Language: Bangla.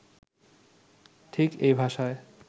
ঠিক এই ভাষায়